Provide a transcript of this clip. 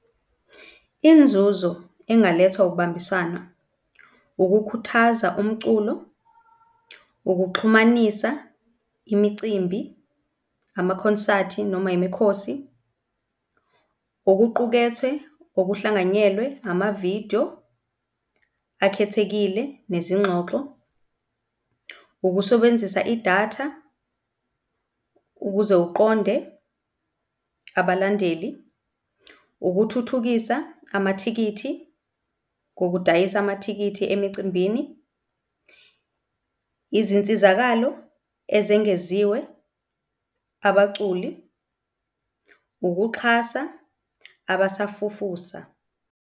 Inzuzo engalethwa ukubambisana, ukukhuthaza umculo, ukuxhumanisa imicimbi, amakhonsathi noma yimikhosi, okuqukethwe okuhlanganyelwe, amavidiyo akhethekile nezingxoxo, ukusebenzisa idatha ukuze uqonde abalandeli, ukuthuthukisa amathikithi ngokudayisa amathikithi emicimbini, izinsizakalo ezengeziwe, abaculi, ukuxhasa abasafufusa.